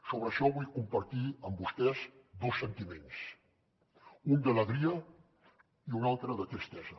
sobre això vull compartir amb vostès dos sentiments un d’alegria i un altre de tristesa